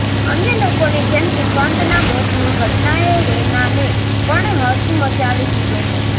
અન્ય લોકોની જેમ સુશાંતના મોતની ઘટનાએ રૈનાને પણ હચમચાવી દીધો છે